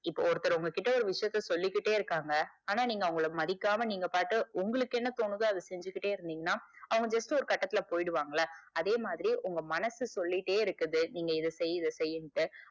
இப்போ ஒருத்தர் உங்க கிட்ட ஒரு விஷயத்த சொல்லிகிட்டே இருக்காங்க ஆனா நீங்க அவங்கள மதிக்காம நீங்க பாட்டு உங்களுக்கு என்ன தோணுதோ அத செஞ்சிகிட்டே இருந்திங்கனா அவங்க just ஒரு கட்டத்துல போய்டுவாங்கள அதே மாதிரி உங்க மனசு சொல்லிட்டே இருக்குது நீங்க இத செய் இத செய்யிண்டு.